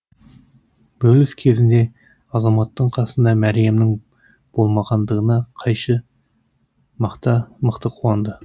бөліс кезінде азаматтың қасында мәриямның болмағандығына қайша мықты қуанды